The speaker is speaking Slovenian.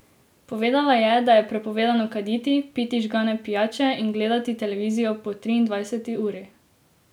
Povedala je, da je prepovedano kaditi, piti žgane pijače in gledati televizijo po triindvajseti uri.